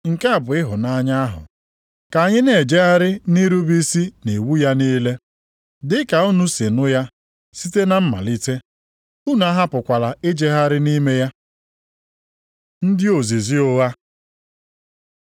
Nke a bụ ịhụnanya ahụ: ka anyị na-ejegharị nʼirube isi nʼiwu ya niile. Dịka unu si nụ ya site na mmalite, unu ahapụkwala ijegharị nʼime ya. Ndị ozizi ụgha